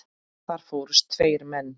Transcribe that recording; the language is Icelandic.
Þar fórust tveir menn.